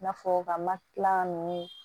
I n'a fɔ ka makila ninnu